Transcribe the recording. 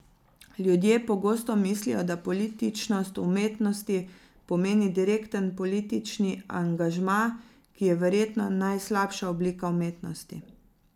Ljudje pogosto mislijo, da političnost v umetnosti pomeni direkten politični angažma, ki je verjetno najslabša oblika umetnosti.